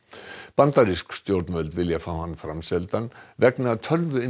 bandarísk stjórnvöld vilja fá hann framseldan vegna